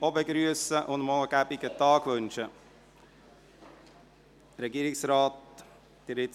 Ich begrüsse ihn und wünsche ihm einen angenehmen Tag.